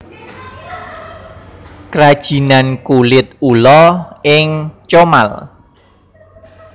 Krajinan Kulit Ula ing Comal